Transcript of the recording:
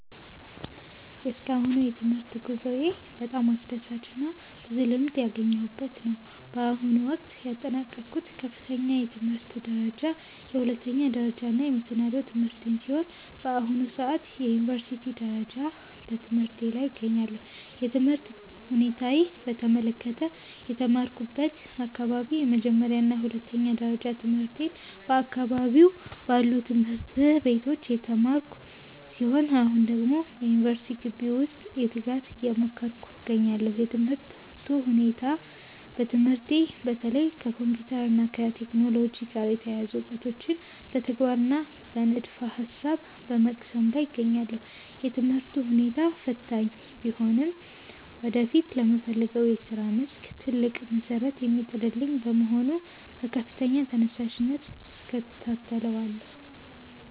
የእስካሁኑ የትምህርት ጉዞዬ በጣም አስደሳችና ብዙ ልምድ ያገኘሁበት ነው። በአሁኑ ወቅት ያጠናቀቅኩት ከፍተኛ የትምህርት ደረጃ የሁለተኛ ደረጃና መሰናዶ ትምህርቴን ሲሆን፣ በአሁኑ ሰዓት በዩኒቨርሲቲ ደረጃ በትምህርቴ ላይ እገኛለሁ። የትምህርት ሁኔታዬን በተመለከተ፦ የተማርኩበት አካባቢ፦ የመጀመሪያና የሁለተኛ ደረጃ ትምህርቴን በአካባቢዬ ባሉ ትምህርት ቤቶች የተማርኩ ሲሆን፣ አሁን ደግሞ በዩኒቨርሲቲ ግቢ ውስጥ በትጋት እየተማርኩ እገኛለሁ። የትምህርቱ ሁኔታ፦ በትምህርቴ በተለይ ከኮምፒውተር እና ከቴክኖሎጂ ጋር የተያያዙ እውቀቶችን በተግባርና በንድፈ-ሐሳብ በመቅሰም ላይ እገኛለሁ። የትምህርቱ ሁኔታ ፈታኝ ቢሆንም ወደፊት ለምፈልገው የሥራ መስክ ትልቅ መሠረት የሚጥልልኝ በመሆኑ በከፍተኛ ተነሳሽነት እከታተለዋለሁ።